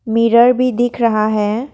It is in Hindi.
मिरर भी दिख रहा है।